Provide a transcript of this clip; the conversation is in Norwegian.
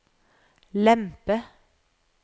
lempe